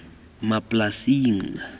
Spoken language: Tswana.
maplasing